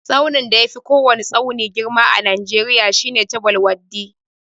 Tsaunin da yafi kowwani tsauni girma a najeriya shine chabbal waddi.